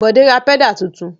Bọ̀dé ra pẹ́dà tuntun?